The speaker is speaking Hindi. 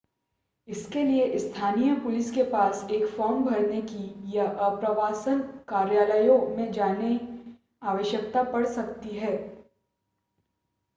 इसके लिए स्थानीय पुलिस के पास एक फॉर्म भरने की या आप्रवासन कार्यालयों में जाने आवश्यकता पड़ सकती है